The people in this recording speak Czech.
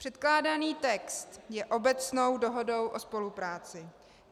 Předkládaný text je obecnou dohodou o spolupráci.